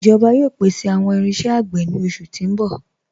Ijoba yóò pèsè awọn irinṣẹ̀ agbè ni oṣù ti n bọ̀.